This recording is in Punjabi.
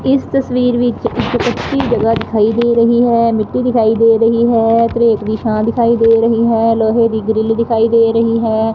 ਇਸ ਤਸਵੀਰ ਵਿੱਚ ਇਕ ਟੁਟੀ ਜਗ੍ਹਾ ਦਿਖਾਈ ਦੇ ਰਹੀ ਹੈ ਮਿੱਟੀ ਦਿਖਾਈ ਦੇ ਰਹੀ ਹੈ ਧਰੇਕ ਦੀ ਛਾਂ ਦਿਖਾਈ ਦੇ ਰਹੀ ਹੈ ਲੋਹੇ ਦੀ ਗ੍ਰਿਲ ਦਿਖਾਈ ਦੇ ਰਹੀ ਹੈ।